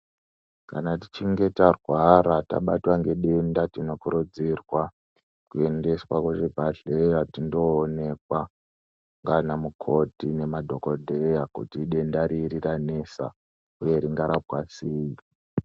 Kana tichinge tarwara tabatwa ngedenda tinokurudzirwa kuendeswa kuzvibhehlera tindoonekwa ndiana mukoti nemadhokodheya kuti idenda ripi ranesa uye ringarapwa sei.